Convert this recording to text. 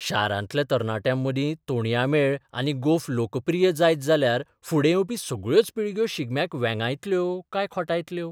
शारांतल्या तरणाट्यांमदीं तोणयां मेळ आनी गोफ लोकप्रिय जायत जाल्यार फुडें येवपी सगळ्योच पिळग्यो शिगम्याक वेंगायतल्यो काय खोटायतल्यो?